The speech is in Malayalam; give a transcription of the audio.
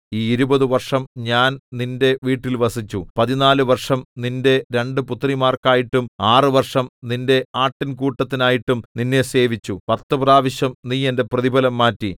ഈ ഇരുപതു വർഷം ഞാൻ നിന്റെ വീട്ടിൽ വസിച്ചു പതിനാല് വർഷം നിന്റെ രണ്ടു പുത്രിമാർക്കായിട്ടും ആറ് വർഷം നിന്റെ ആട്ടിൻകൂട്ടത്തിനായിട്ടും നിന്നെ സേവിച്ചു പത്തു പ്രാവശ്യം നീ എന്റെ പ്രതിഫലം മാറ്റി